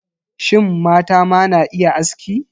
Shin, mata ma na iya aski?